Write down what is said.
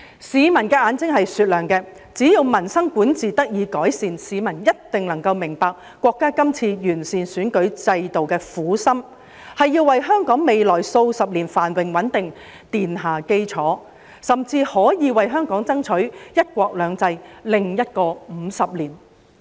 市民的眼睛是雪亮的，只要民生管治得以改善，市民一定能夠明白國家今次完善選舉制度的苦心，是要為香港未來數十年繁榮穩定奠下基礎，甚至可以為香港爭取"一國兩制"的另一個50年。